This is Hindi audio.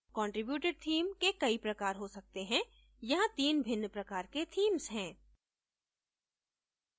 contributed theme के कई प्रकार हो सकते हैं यहाँ 3 भिन्न प्रकार के themes हैं